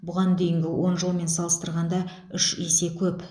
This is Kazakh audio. бұған дейінгі он жылмен салыстырғанда үш есе көп